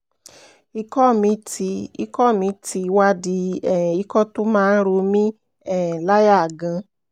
ikọ̀ mi ti ikọ̀ mi ti wá di um ikọ̀ tó máa ń ro mí um láyà gan-an